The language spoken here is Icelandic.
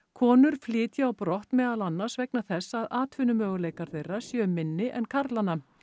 konur flytji á brott meðal annars vegna þess að atvinnumöguleikar þeirra séu minni en karlanna